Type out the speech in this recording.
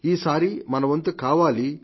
ఈ సారి మన వంతు కావాలి